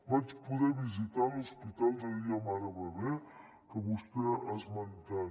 vaig poder visitar l’hospital de dia mare bebè que vostè ha esmentat